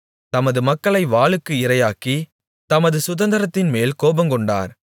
தமது மக்களை வாளுக்கு இரையாக்கி தமது சுதந்தரத்தின்மேல் கோபங்கொண்டார்